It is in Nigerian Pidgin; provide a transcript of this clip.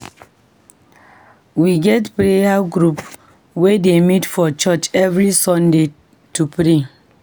We get prayer group wey dey meet for church every Saturday to pray.